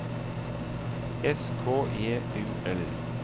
S K J U L